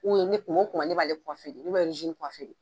ne kuma o kuma ne b'ale de , ne be de.